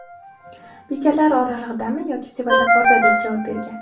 Bekatlar oralig‘idami yoki svetoforda?”, deb javob bergan.